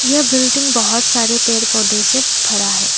यह बिल्डिंग बहोत सारे पेड़ पौधे से भरा है।